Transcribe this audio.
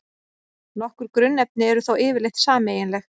Nokkur grunnefni eru þó yfirleitt sameiginleg.